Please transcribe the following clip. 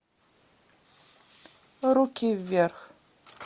руки вверх